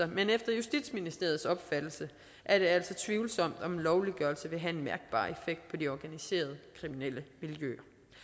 men efter justitsministeriets opfattelse er det altså tvivlsomt om lovliggørelse vil have en mærkbar effekt på de organiserede kriminelle miljøer